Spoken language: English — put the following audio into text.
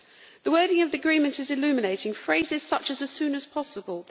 The wording of the agreement is illuminating, with phrases such as as soon as possible'.